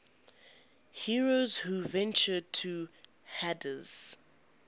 heroes who ventured to hades